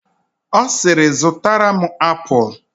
Ọ siiri, zụtara m apụl!